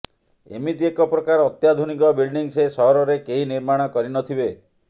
ଏମିତି ଏକ ପ୍ରକାର ଅତ୍ୟାଧୁନିକ ବିଲଡିଂ ସେ ସହରରେ କେହି ନିର୍ମାଣ କରିନଥିବେ